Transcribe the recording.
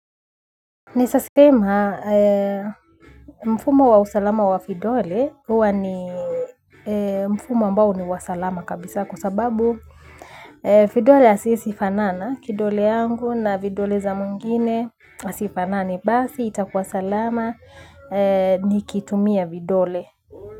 Ninaezasema mfumo wa usalama wa vidole hua ni mfumo ambao ni wa salama kabisa kwa sababu vidole asisifanana kidole yangu na vidole za mwengine hazifanani basi itakuwa salama nikitumia vidole.